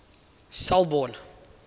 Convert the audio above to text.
selborne